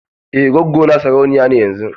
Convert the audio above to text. Eh gwaggo na sarauniya ce yanzun.